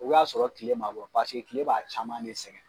O b'a sɔrɔ tile ma bɔ paseka tile b'a caman de sɛgɛn.